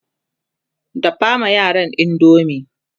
dafa ma yaran indomie!